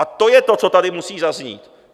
A to je to, co tady musí zaznít.